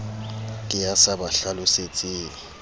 ke ya sa ba hlalosetseng